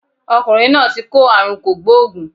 Ọkùnrin náà ti kó àrùn kògbóògùn